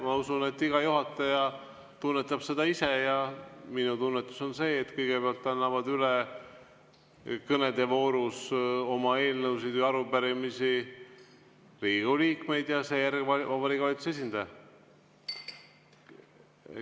Ma usun, et iga juhataja tunnetab seda isemoodi, ja minu tunnetus on see, et kõigepealt annavad üle kõnede voorus oma eelnõusid või arupärimisi Riigikogu liikmed ja seejärel Vabariigi Valitsuse esindaja.